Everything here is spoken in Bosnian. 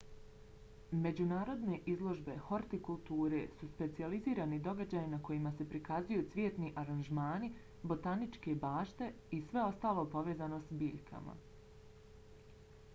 međunarodne izložbe hortikulture su specijalizirani događaji na kojima se prikazuju cvjetni aranžmani botaničke bašte i sve ostalo povezano s biljkama